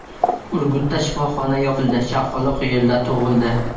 Urgutda shifoxona yopildi, chaqaloq yo‘lda tug‘ildi .